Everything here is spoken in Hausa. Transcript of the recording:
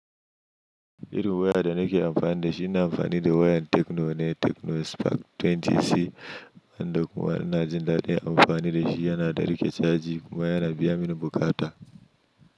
Irin waya da nake amfani da shi na amfani da wayan Techno ne, Techno Spark 20C, wanda kuma ina jin daɗin amfani da shi yana ɗarika caji kuma yana biya mini bukata.